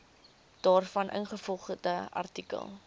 daarvan ingevolge artikel